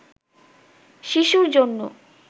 শিশুর জন্য